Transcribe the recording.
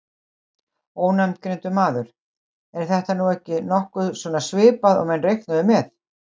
Ónafngreindur maður: Er þetta nú ekki nokkuð svona svipað og menn reiknuðu með?